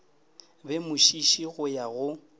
be mošiši go ya go